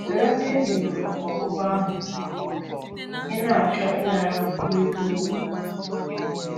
Soro ndị e nyeworo ọgwụgwọ ahụ ị na - achọ ịnara kwurịta okwu.